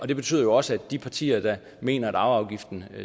det betyder jo også at de partier der mener at arveafgiften